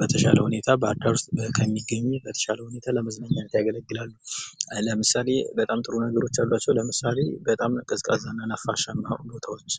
በተሻለ ሁኔታ ባህር ዳር ውስጥ ብቻ ከሚገኝ በተሻለ ሁኔታ ለመዝናኛነት ያገለግላሉ። ለምሳሌ በጣም ጥሩ ነገሮች አሏቸው ለምሳሌ በጣም ቀዝቃዛ ነፋስ እና ሁኔታዎች።